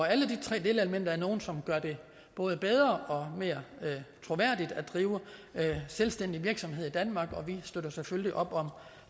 alle de tre delelementer er nogle som gør det både bedre og mere troværdigt at drive selvstændig virksomhed i danmark og vi støtter selvfølgelig op om